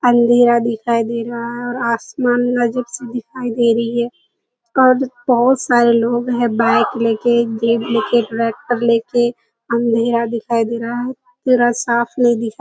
अंधेरा दिखाई दे रहा है और आसमान नजदीक से दिखाई दे रही है। कद बहुत सारे लोग हैं बाईक ले के ले के ट्रेक्‍टर ले के। अंधेरा दिखाई दे रहा है। पूरा साफ नहीं दिखाई --